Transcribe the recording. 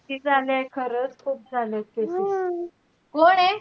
किती झाले, खरंच खूप झालेत cases